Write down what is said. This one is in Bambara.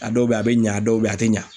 A dɔw be yen a be ɲa dɔw be yen a te ɲa